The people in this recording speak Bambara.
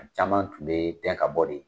A caman kun be dɛn ka bɔ de.